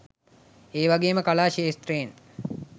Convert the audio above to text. ඒ වගේම කලා ක්‍ෂේත්‍රයෙන්